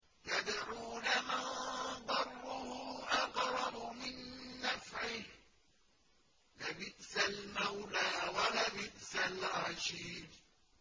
يَدْعُو لَمَن ضَرُّهُ أَقْرَبُ مِن نَّفْعِهِ ۚ لَبِئْسَ الْمَوْلَىٰ وَلَبِئْسَ الْعَشِيرُ